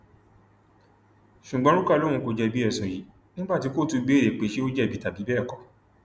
ṣùgbọn ruka lóun kò jẹbi ẹsùn yìí nígbà tí kóòtù béèrè pé ṣé ó jẹbi tàbí bẹẹ kọ